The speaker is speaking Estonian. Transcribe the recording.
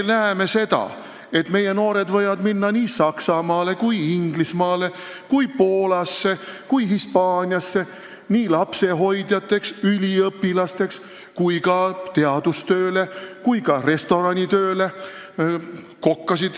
Me näeme seda, et meie noored võivad minna Saksamaale, Inglismaale, Poolasse ja Hispaaniasse lapsehoidjateks või üliõpilasteks, aga ka teadus- või restoranitööle.